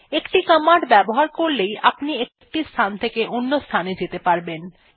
একটি কমান্ড ব্যবহার করলেই আপনি একটি স্থান থেকে অন্যান্য স্থানে যেতে পারবেন